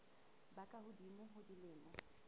ba ka hodimo ho dilemo